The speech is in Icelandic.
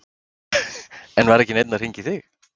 En var ekki neinn að hringja í þig?